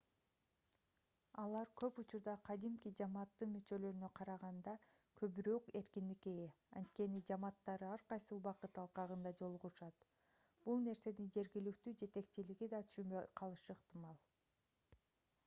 алар көп учурда кадимки жамааттын мүчөлөрүнө караганда көбүрөөк эркиндикке ээ анткени жамааттары ар кайсы убакыт алкагында жолугушат бул нерсени жергиликтүү жетекчилиги да түшүнбөй калышы ыктымал